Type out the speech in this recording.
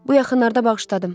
Bu yaxınlarda bağışladım.